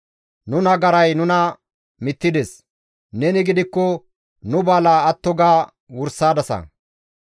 Nu nagaray nuna mittides; neni gidikko nu balaa atto ga wursadasa.